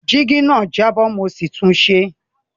Jígí náà jábọ́ mo sì tunṣe